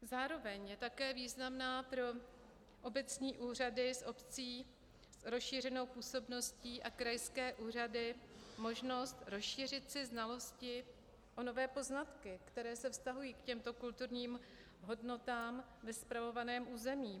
Zároveň je také významná pro obecní úřady obcí s rozšířenou působností a krajské úřady možnost rozšířit si znalosti o nové poznatky, které se vztahují k těmto kulturním hodnotám ve spravovaném území.